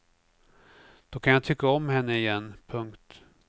Då kan jag tycka om henne igen. punkt